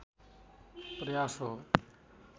प्रयास हो